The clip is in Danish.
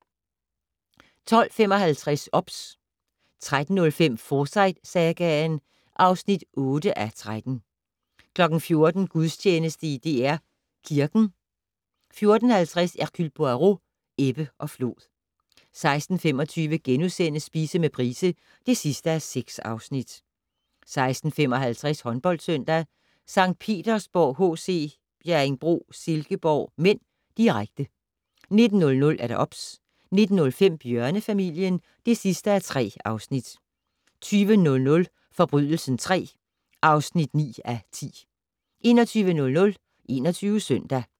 12:55: OBS 13:05: Forsyte-sagaen (8:13) 14:00: Gudstjeneste i DR Kirken 14:50: Hercule Poirot: Ebbe og flod 16:25: Spise med Price (6:6)* 16:55: Håndboldsøndag: St. Petersborg HC-Bjerringbro Silkeborg (m), direkte 19:00: OBS 19:05: Bjørnefamilien (3:3) 20:00: Forbrydelsen III (9:10) 21:00: 21 Søndag